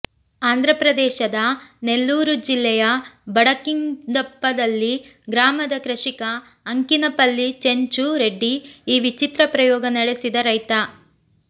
ಆಂಧ್ರ ಪ್ರದೇಶದ ನೆಲ್ಲೂರು ಜಿಲ್ಲೆಯ ಬಂಡಕಿಂದಪಲ್ಲಿ ಗ್ರಾಮದ ಕೃಷಿಕ ಅಂಕಿನಪಲ್ಲಿ ಚೆಂಚು ರೆಡ್ಡಿ ಈ ವಿಚಿತ್ರ ಪ್ರಯೋಗ ನಡೆಸಿದ ರೈತ